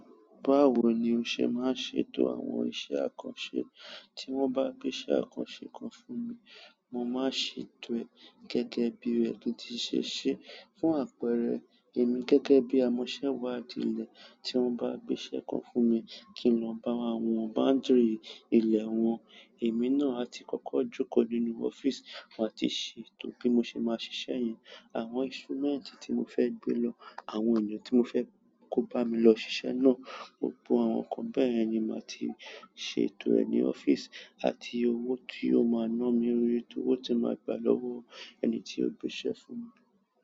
Báwo ni o ṣe máa ṣe ètò àwọn iṣẹ́ àkànṣe? Tí wọ́n bá gbé iṣẹ́ àkànṣe kan fún mi, mo máa ṣe ètò rẹ̀ gẹ́gẹ́ bí ẹni to tí ṣèṣe. Fún àpẹẹrẹ, èmi gẹ́gẹ́ bí amọ́ṣẹ́ wádìlé, tí wọ́n bá gbé iṣẹ́ kan fún mi kí n lọ bá won wọn boundary ilẹ̀ wọn, èmi náà á ti kọ́kọ́ jókòó nínú ọ́fíìsì, mo máa ti ṣètò bí mo ṣe máa ṣiṣẹ́ yìí, àwọn instrument tí mo fẹ́ gbé lọ, àwọn ènìyàn tí mo fẹ́ kó bá mi lọ ṣiṣẹ́ náà, gbogbo àwọn nǹkan bẹ́yen ni màá ti ṣe ètò rẹ̀ ní ọ́fíìsì àti owó tí yóò máa ná mi nítorí owó tí màá gba lọ́wọ́ ẹni tí ó gbé iṣẹ́ fún mi.